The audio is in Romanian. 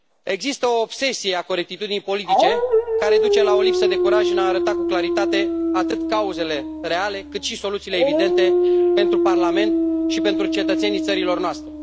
Există o obsesie a corectitudinii politice, care duce la o lipsă de curaj în a arăta cu claritate atât cauzele reale, cât și soluțiile evidente pentru Parlament și pentru cetățenii țărilor noastre.